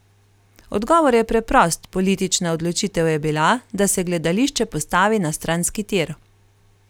Odgovor je preprost, politična odločitev je bila, da se gledališče postavi na stranski tir.